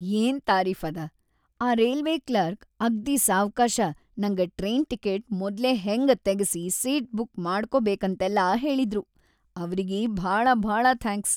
ಏನ್‌ ತಾರೀಫದ, ಆ ರೈಲ್ವೆ ಕ್ಲರ್ಕ್‌ ಅಗ್ದೀ ಸಾವ್ಕಾಶ ನಂಗ ಟ್ರೇನ್‌ ಟಿಕಿಟ್‌ ಮೊದ್ಲೆ ಹೆಂಗ ತಗಿಸಿ ಸೀಟ್‌ ಬುಕ್‌ ಮಾಡ್ಕೊಬೇಕಂತೆಲ್ಲಾ ಹೇಳಿದ್ರು, ಅವ್ರಿಗಿ ಭಾಳ ಭಾಳ ಥ್ಯಾಂಕ್ಸ್.